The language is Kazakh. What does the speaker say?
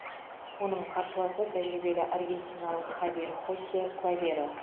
оның қарсыласы тәжірибелі аргентиналық хавьер хосе клаверо